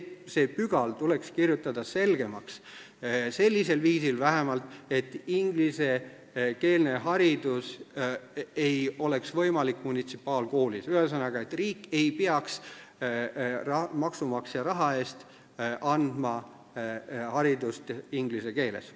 See pügal tuleks kirjutada selgemaks, vähemalt sellisel viisil, et munitsipaalkoolis ei oleks võimalik ingliskeelne haridus, st riik ei peaks maksumaksja raha eest andma haridust inglise keeles.